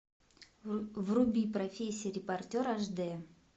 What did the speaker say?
вруби профессия репортер аш д